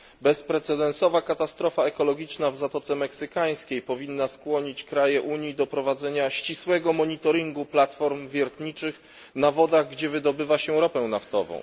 Bezprecedensowa katastrofa ekologiczna w Zatoce Meksykańskiej powinna skłonić kraje Unii do prowadzenia ścisłego monitoringu platform wiertniczych na wodach, gdzie wydobywa się ropę naftową.